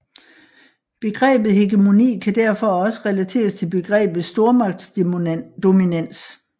Begrebet hegemoni kan derfor også relateres til begrebet stormagtsdominans